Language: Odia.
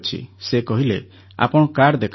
ସେ କହିଲେ ଆପଣ କାର୍ଡ଼ ଦେଖାନ୍ତୁ